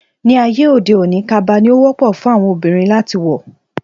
Ní ayé òde òní, kaba ni ó wọ́pọ̀ fún àwọn Obìnrin láti wọ̀